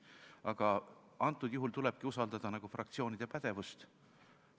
Aga antud juhul tulebki usaldada fraktsioonide pädevust.